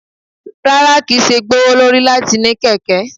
Rara, kii ṣe gbowolori lati ni keke